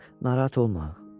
Narahat olma.